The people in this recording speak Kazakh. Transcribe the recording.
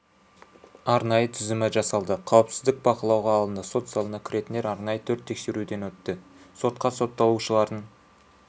арнайы тізімі жасалды қауіпсіздік бақылауға алынды сот залына кіретіндер арнайы төрт тексеруден өтті сотқа сотталушылардың